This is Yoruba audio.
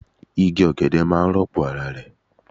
Igi ogede maa n ropo ara re